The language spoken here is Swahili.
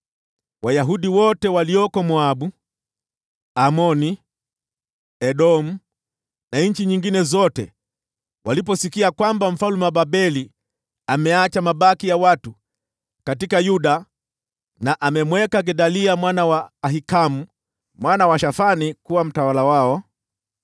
Wayahudi wote waliokuwa Moabu, Amoni, Edomu na nchi nyingine zote waliposikia kwamba mfalme wa Babeli ameacha mabaki ya watu katika Yuda na amemweka Gedalia mwana wa Ahikamu mwana wa Shafani kuwa mtawala wao,